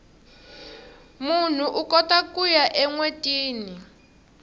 munhu ukota kuya enwetini